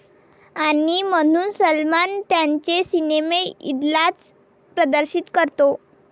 ...आणि म्हणून सलमान त्याचे सिनेमे ईदलाच प्रदर्शित करतो!